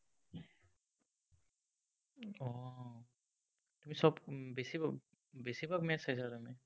চব বেছিভাগ match চাইছা তাৰমানে।